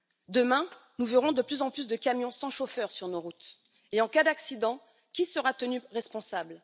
Demain, nous verrons de plus en plus de camions sans chauffeur sur nos routes et en cas d'accident, qui sera tenu responsable?